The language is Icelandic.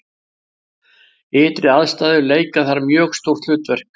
ytri aðstæður leika þar mjög stórt hlutverk